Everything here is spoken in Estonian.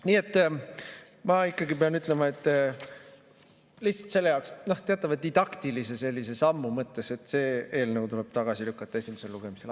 Nii et ma ikkagi pean ütlema, lihtsalt selle jaoks, teatava didaktilise sammu mõttes, et see eelnõu tuleb tagasi lükata esimesel lugemisel.